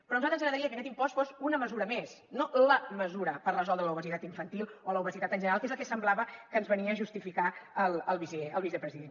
però a nosaltres ens agradaria que aquest impost fos una mesura més no la mesura per resoldre l’obesitat infantil o l’obesitat en general que és el que semblava que justificava el vicepresident